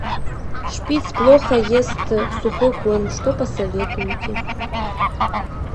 шпиц плохо ест сухой корм что посоветуете